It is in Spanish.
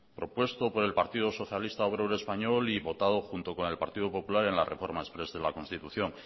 propuesto por el partido socialista obrero español y votado junto con el partido popular en la reforma exprés de la constitución